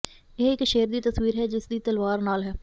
ਇਹ ਇਕ ਸ਼ੇਰ ਦੀ ਤਸਵੀਰ ਹੈ ਜਿਸ ਦੀ ਤਲਵਾਰ ਨਾਲ ਹੈ